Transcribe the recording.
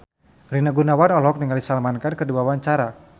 Rina Gunawan olohok ningali Salman Khan keur diwawancara